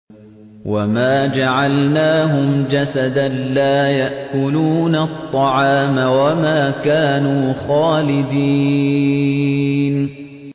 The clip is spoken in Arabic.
وَمَا جَعَلْنَاهُمْ جَسَدًا لَّا يَأْكُلُونَ الطَّعَامَ وَمَا كَانُوا خَالِدِينَ